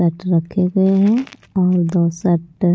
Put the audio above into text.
shirt रखे हुएं हैं और दो शर्ट --